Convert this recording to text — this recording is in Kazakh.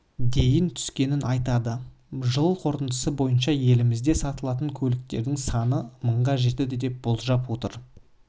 дейін түскенін айтады жыл қорытындысы бойынша елімізде сатылатын көліктердің саны мыңға жетеді деп болжап отыр